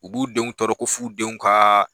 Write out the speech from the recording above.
U b'u denw tɔɔrɔ ko f'u denw ka